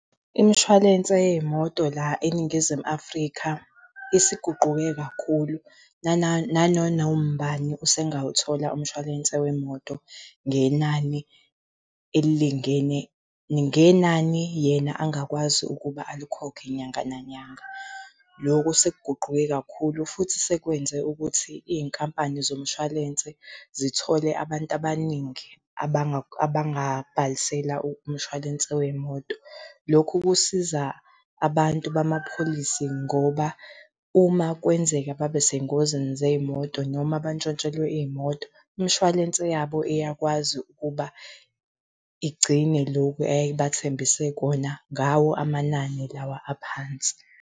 Imshwalense yey'moto la eNingizimu Afrika isiguquke kakhulu. Nananoma ubani usengawuthola umshwalense wemoto ngenani elilingene, ngenani yena angakwazi ukuba alikhokhe nyanga nanyanga. Loko sekuguquke kakhulu futhi sekwenze ukuthi iy'nkampani zomshwalense zithole abantu abaningi abangabhalisela umshwalense wey'moto. Lokhu kusiza abantu bama-policy ngoba uma kwenzeka babe sey'ngozini zey'moto noma bantshontshelwe iy'moto, imshwalense yabo iyakwazi ukuba igcine loku eyayibathembise kona ngawo amanani lawa aphansi.